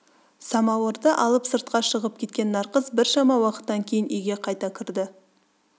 самауырды алып сыртқа шығьп кеткен нарқыз біршама уақыттан кейін үйге қайта кірді